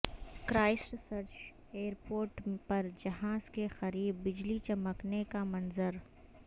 Christ church airport پر جہاز کے قریب بجلی چمکنے کا منظر